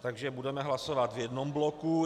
Takže budeme hlasovat v jednom bloku.